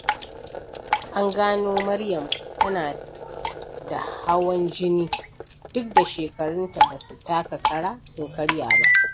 An gano Maryam tana da hawan jini, duk da shekarunta ba su taka kara, sun karya ba.